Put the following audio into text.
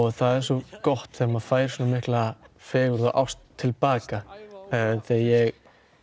það er svo gott þegar maður fær svona mikla fegurð og ást til baka ég